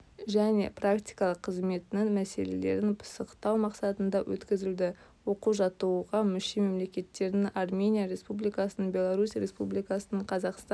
және практикалық қызметінің мәселелерін пысықтау мақсатында өткізілді оқу-жаттығуға мүше мемлекеттердің армения республикасының беларусь республикасының қазақстан